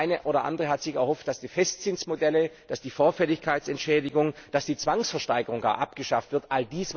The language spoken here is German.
Der eine oder andere hatte sich erhofft, dass die Festzinsmodelle, die Vorfälligkeitsentschädigung oder gar die Zwangsversteigerung abgeschafft werden.